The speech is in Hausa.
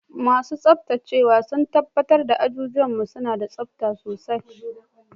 Masu tsabtacewa sun tabbatar da azuzuwan mu suna da tsabta sosai.